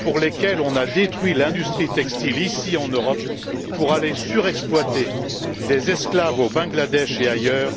pour lesquelles on a détruit l'industrie textile, ici en Europe, pour aller surexploiter des esclaves au Bangladesh et ailleurs,